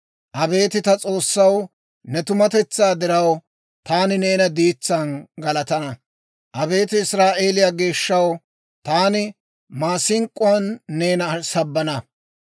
Abeet ta S'oossaw, ne tumatetsaa diraw, taani neena diitsaan galatana. Abeet Israa'eeliyaa geeshshaw, taani maasink'k'uwaan neena sabbana.